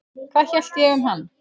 Hvað ég hélt um hann?